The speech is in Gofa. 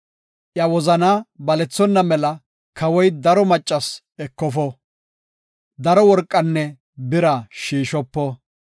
Iya wozanaa balethonna mela kawoy daro macco ekofo; daro worqanne bira shiishopo.